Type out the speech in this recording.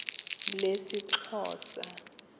lesixhosa